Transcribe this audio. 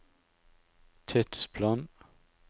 tidsplan